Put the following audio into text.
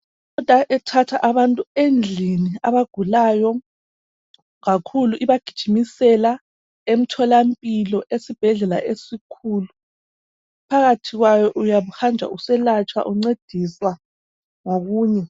Imota ethatha abantu endlini abagulayo kakhulu ibagijimisela emtholampilo esibhedlela esikhulu phakathi kwayo uyabuhanjwa uselatshwa uncediswa ngokunye.